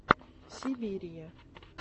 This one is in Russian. сибирия